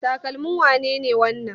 Takalmin wane ne wannan?